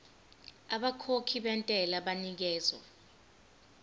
abakhokhi bentela banikezwa